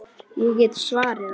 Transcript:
Ég get svarið það.